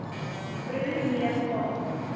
broer neef pa